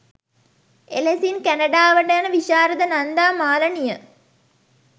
එලෙසින් කැනඩාවට යන විශාරද නන්දා මාලනිය